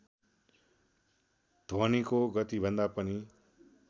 ध्वनिको गतिभन्दा पनि